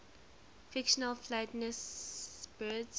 fictional flightless birds